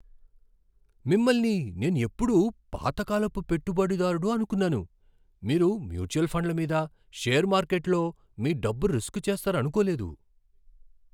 మిమ్మల్ని నేనెప్పుడూ పాత కాలపు పెట్టుబడిదారుడు అనుకున్నాను, మీరు మ్యూచువల్ ఫండ్ల మీద షేర్ మార్కెట్లో మీ డబ్బు రిస్క్ చేస్తారనుకోలేదు.